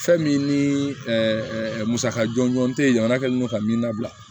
Fɛn min ni musaka jɔnjɔn tɛ jamana kɛlen don ka min labila